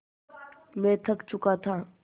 मैं थक चुका था